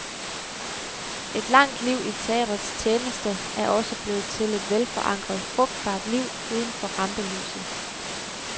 Et langt liv i teatrets tjeneste er også blevet til et velforankret, frugtbart liv uden for rampelyset.